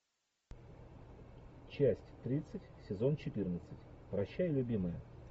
часть тридцать сезон четырнадцать прощай любимая